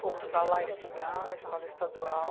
Fomos para lá estudar na escola estadual.